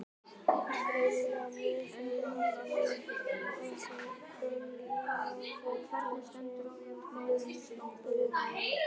Greinilega mjög feiminn því að hann reynir að fela sig á bak við hana.